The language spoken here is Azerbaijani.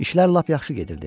İşlər lap yaxşı gedirdi.